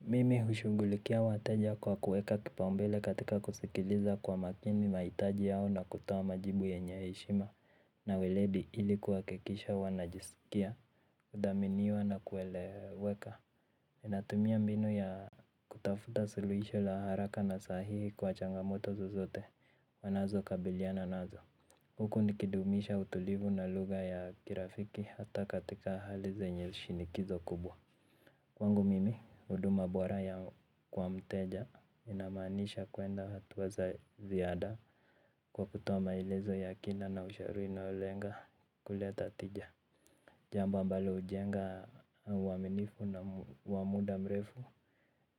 Mimi hushugulikia wateja kwa kuweka kipaumbele katika kusikiliza kwa makini mahitaji yao na kutoa majibu yenye heshima. Na welebi ilikuwa kikisha wanajisikia, udaminiwa na kueleweka. Natumia mbinu ya kutafuta suluhisho la haraka na sahihi kwa changamoto zozote wanazokabiliana nazo. Huku nikidumisha utulivu na lugha ya kirafiki hata katika hali zenye shinikizo kubwa. Kwangu mimi, huduma bora yao kwa mteja inamaanisha kua na hatua za ziada. Kwa kutoa maelezo ya kina na ushauri inaolenga kuleta tija. Jambo ambalo ujenga uwaminifu na wa muda mrefu,